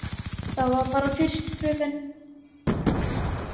Það var bara fyrst, fröken.